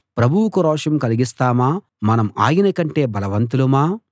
ప్రభువుకు రోషం కలిగిస్తామా మనం ఆయనకంటే బలవంతులమా